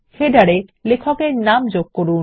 শিরলেখতে লেখক এর নাম যোগ করুন